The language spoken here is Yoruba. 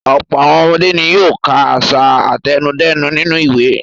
Ọ̀pọ̀ àwọn ọmọdé ni yóò ka àṣà àtẹnudẹ́nu nínú ìwé.